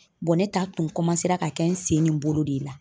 ne ta tun ra ka kɛ n sen ni n bolo de la.